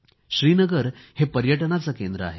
श्रीनगर हे पर्यटनाचे केंद्र आहे